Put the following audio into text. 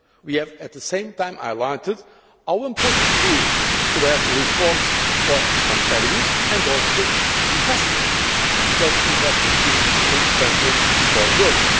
We have at the same time highlighted how important it is to have reforms for competitiveness and also investment, because investment is indispensable for growth.